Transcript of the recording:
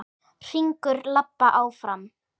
Hringur labba áfram.